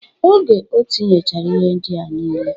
Oge otinyechara ihe ndịa nile